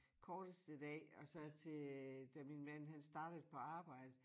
Korteste dag og så til øh da min mand han startede på arbjede